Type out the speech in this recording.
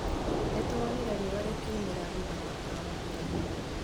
Nĩtũronire riũa rĩkiumĩra thutha wa mbura gũthira